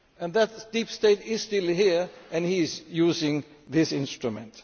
That deep state is still here, and he is using this instrument.